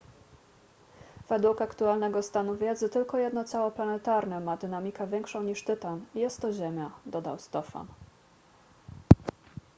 według aktualnego stanu wiedzy tylko jedno ciało planetarne ma dynamikę większą niż tytan i jest to ziemia dodał stofan